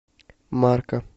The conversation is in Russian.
марка